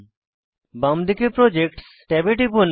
বাম দিকে প্রজেক্টস ট্যাবে টিপুন